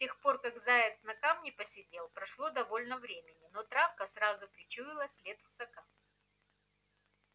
с тех пор как заяц на камне посидел прошло довольно времени но травка сразу причуяла след русака